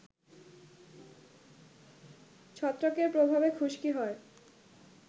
ছত্রাকের প্রভাবে খুশকি হয়